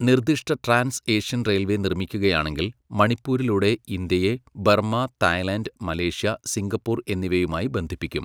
നിർദിഷ്ട trans Asian railway നിർമ്മിക്കുകയാണെങ്കിൽ, മണിപ്പൂരിലൂടെ ഇന്ത്യയെ ബർമ്മ, തായ്ലൻഡ്, മലേഷ്യ, സിംഗപ്പൂർ എന്നിവയുമായി ബന്ധിപ്പിക്കും.